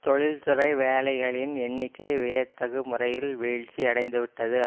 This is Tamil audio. தொழில் துறை வேலைகளின் எண்ணிக்கை வியத்தகு முறையில் வீழ்ச்சி அடைந்து விட்டது